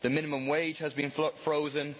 the minimum wage has been frozen